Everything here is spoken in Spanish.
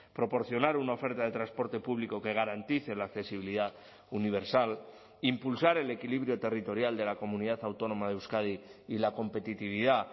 proporcionar una oferta de transporte público que garantice la accesibilidad universal impulsar el equilibrio territorial de la comunidad autónoma de euskadi y la competitividad